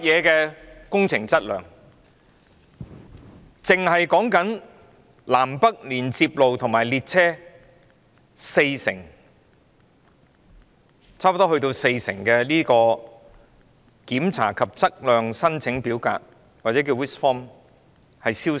單是南、北連接隧道和列車停放處已有四成檢查及測量申請表格消失。